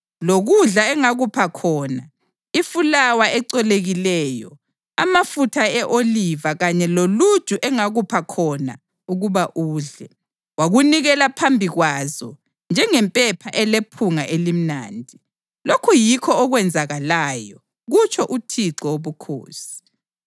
Lokudla engakupha khona, ifulawa ecolekileyo, amafutha e-oliva kanye loluju engakupha khona ukuba udle, wakunikela phambi kwazo njengempepha elephunga elimnandi. Lokhu yikho okwenzakalayo, kutsho uThixo Wobukhosi.